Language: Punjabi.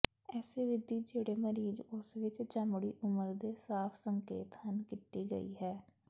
ਇਸੇ ਵਿਧੀ ਜਿਹੜੇ ਮਰੀਜ਼ ਉਸ ਵਿੱਚ ਚਮੜੀ ਉਮਰ ਦੇ ਸਾਫ ਸੰਕੇਤ ਹਨ ਕੀਤੀ ਗਈ ਹੈ